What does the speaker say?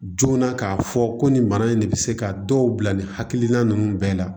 Joona k'a fɔ ko nin bana in de bɛ se ka dɔw bila nin hakilina ninnu bɛɛ la